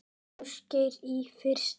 Ásgeir: Í fyrsta?